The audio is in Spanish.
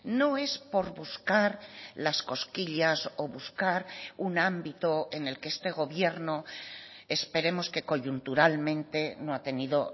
no es por buscar las cosquillas o buscar un ámbito en el que este gobierno esperemos que coyunturalmente no ha tenido